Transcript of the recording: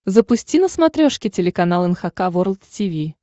запусти на смотрешке телеканал эн эйч кей волд ти ви